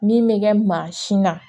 Min bɛ kɛ mansin na